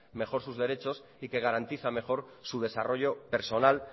mejor sus derechos y que garantiza mejor su desarrollo personal